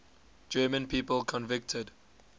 german people convicted